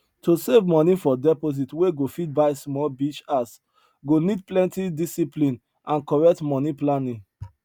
to save money for deposit wey go fit buy small beach house go need plenty discipline and correct money planning